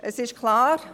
Es ist klar: